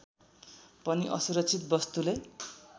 पनि असुरक्षित वस्तुले